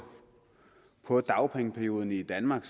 på dagpengeperioden i danmark